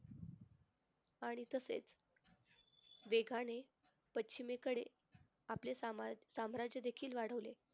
आणि तसेच वेगाने पश्चिमेकडे आपले समाज साम्राज्यदेखील वाढवले.